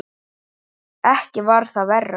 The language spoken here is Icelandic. Ekki var það verra.